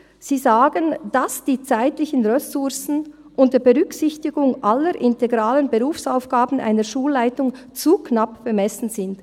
Sie sagen, dass die zeitlichen Ressourcen unter Berücksichtigung aller integralen Berufsaufgaben einer Schulleitung zu knapp bemessen seien.